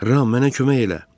Ram, mənə kömək elə!